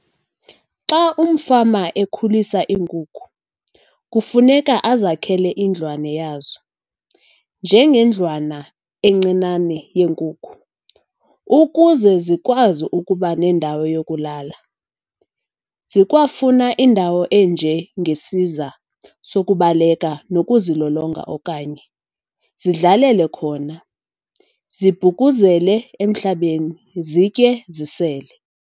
Xa umfama ekhulisa iinkukhu, kufuneka azakhele indlwane yazo, njengendlwana encinane yeenkukhu, ukuze zikwazi ukuba nendawo yokulala. Zikwafuna indawo enjengesiza sokubaleka nokuzilolonga okanye zidlalele khona, zibhukuzele emhlabeni, zitye, zisele.